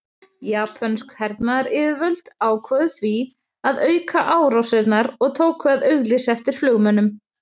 Japönsk hernaðaryfirvöld ákváðu því að auka árásirnar og tóku að auglýsa eftir flugmönnum.